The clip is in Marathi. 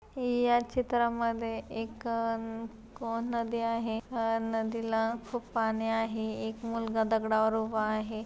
या चित्रामधे एक कोण नदी आहे अ नदीला खुप पाणी आहे एक मुलगा दगडावर उभा आहे.